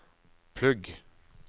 plugg